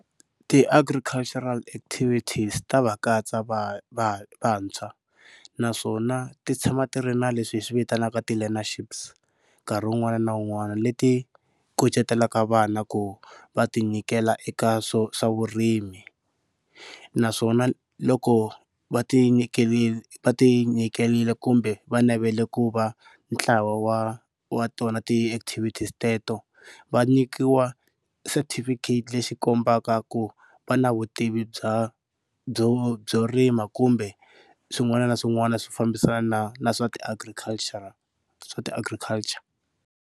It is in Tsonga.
Ti-agricultural activities ta va katsa va va vantshwa naswona ti tshama ti ri na leswi hi swivitanaka ti learnerships nkarhi wun'wana na wun'wana leti kucetelaka vana ku va tinyiketela eka swa vurimi. Naswona loko va tinyikerile va ti nyiketelile kumbe va navela ku va ntlawa wa wa tona ti-activities teto va nyikiwa setifikheti lexi kombaka ku va na vutivi bya byo byo rima kumbe swin'wana na swin'wana swi fambisana na na swa ti-agricultural swa ti agriculture.